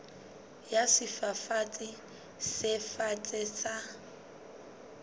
ya sefafatsi se fatshe sa